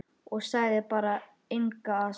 Og sagði bara: Engan asa.